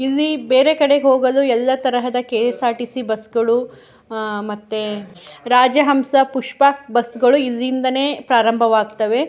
ಇಲ್ಲಿ ಬೇರೆ ಕಡೆಗ್ ಹೋಗಲು ಎಲ್ಲ ತರಹದ ಕೆ.ಎಸ್.ಆರ್.ಟಿ.ಸಿ. ಬಸ್ ಗಳು ಆ ಮತ್ತೆ ರಾಜಹಂಸ ಪುಷ್ಪಕ್ ಬಸ್ ಗಳು ಇಲ್ಲಿಂದನೇ ಪ್ರಾರಂಬವಾಗ್ತವೆ.